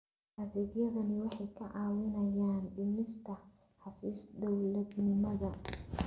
Adeegyadani waxay kaa caawinayaan dhimista xafiis-dawladnimada.